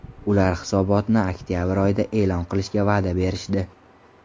Ular hisobotni oktabr oyida e’lon qilishga va’da berishdi.